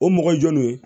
O mɔgɔ jɔnw ye